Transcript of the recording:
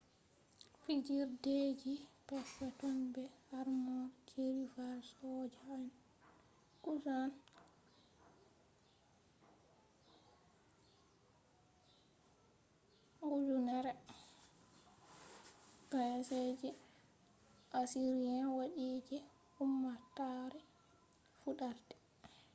fijirdeji perpeton be armor je rival soja en. kusan 1000b.c. je assyrians waddi je ummatore fudarde